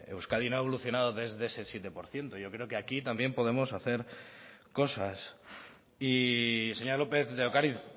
euskadi no ha evolucionado desde ese siete por ciento yo creo que aquí también podemos hacer cosas y señora lópez de ocariz